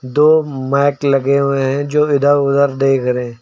दो माइक लगे हुए हैं जो इधर उधर देख रहे--